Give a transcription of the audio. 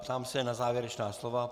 Ptám se na závěrečná slova.